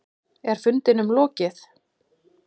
Er fundinum lokið?